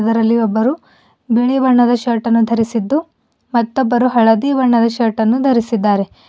ಅದರಲ್ಲಿ ಒಬ್ಬರು ಬಿಳಿ ಬಣ್ಣದ ಶರ್ಟ್ ಅನ್ನು ಧರಿಸಿದ್ದು ಮತ್ತೊಬ್ಬರು ಹಳದಿ ಬಣ್ಣದ ಶರ್ಟ್ ಅನ್ನು ಧರಿಸಿದ್ದಾರೆ.